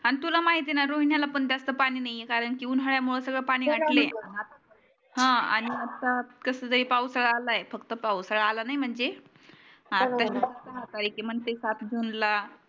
आणि तुला माहिती आहे ना रोयान्याला पण जास्त पानी नाही कारण की उन्हाळ्यामुळ सगळ पानी आटले ह आणि आता कस जे पावसाळा अलाय फक्त पावसाळा आला नाही म्हणजे आता येते म्हणते सात जून ला